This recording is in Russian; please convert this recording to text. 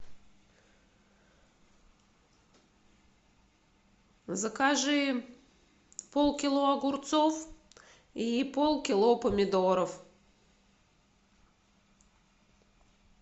закажи полкило огурцов и полкило помидоров